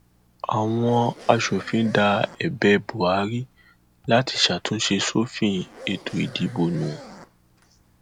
àwọn asòfin da ẹbẹ buhari láti ṣàtúnṣe sófin ètò ìdìbò nù